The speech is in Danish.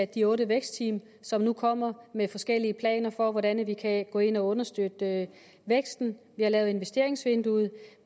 de otte vækstteam som nu kommer med forskellige planer for hvordan vi kan gå ind og understøtte væksten vi har lavet investeringsvinduet